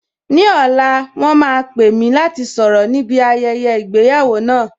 Ní ọ̀la, wọn máa pè mí láti sọ̀rọ̀ ní bi ayẹyẹ ìgbéyàwó náà